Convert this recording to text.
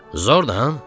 Zordu, ha?